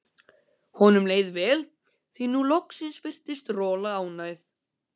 Honum leið vel, því að nú loksins virtist Rola ánægð.